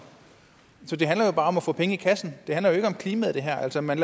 så det handler jo bare om at få penge i kassen det her handler ikke om klimaet altså man